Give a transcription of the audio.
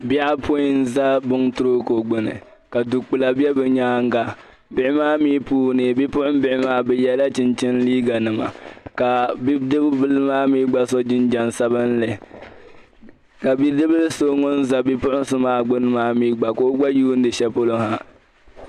Bihi apɔin n-za buŋtroko gbunni ka du kpila bɛ bi nyaanga. Bihi maa mi puuni, bipuɣinbihi maa bi yɛ la chinchini liiganima ka bidibili maa mi so jinjam sabinli. Ka bidibili so ŋun za bipuɣinsi maa gbunni maa mi gba ka o gba yuundi shɛ'polo ha.